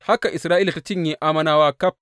Haka Isra’ila ta cinye Ammonawa ƙaf.